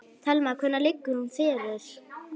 Telma: Hvenær liggur hún fyrir?